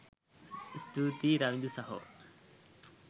ස්තුතියි රවිදු සහෝ